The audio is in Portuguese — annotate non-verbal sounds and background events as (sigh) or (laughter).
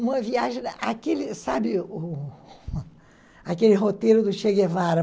Uma viagem... (unintelligible) aquele sabe aquele roteiro do Che Guevara?